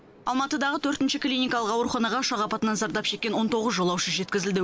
алматыдағы төртінші клиникалық ауруханаға ұшақ апатынан зардап шеккен он тоғыз жолаушы жеткізілді